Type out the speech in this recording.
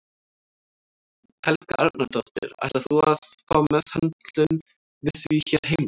Helga Arnardóttir: Ætlar þú að fá meðhöndlun við því hér heima?